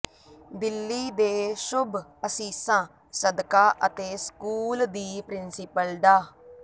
ਦਿੱਲੀ ਦੇ ਸ਼ੁੱਭ ਅਸੀਸਾਂ ਸਦਕਾ ਅਤੇ ਸਕੂਲ ਦੀ ਪ੍ਰਿੰਸੀਪਲ ਡਾ